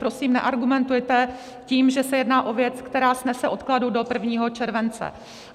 Prosím, neargumentujte tím, že se jedná o věc, která snese odkladu do 1. července.